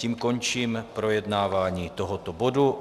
Tím končím projednávání tohoto bodu.